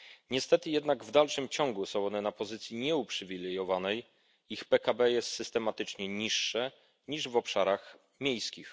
Niestety jednak w dalszym ciągu są one na pozycji nieuprzywilejowanej ich PKB jest systematycznie niższe niż w obszarach miejskich.